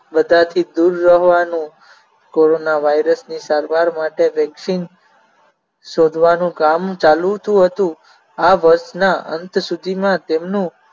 બધાથી દૂર રહેવાનું કોરોનાવાયરસની સારવાર માટે vaccine શોધવાનું કામ ચાલુ જ હતું. આ વર્ષના અંત સુધીમાં તેમનું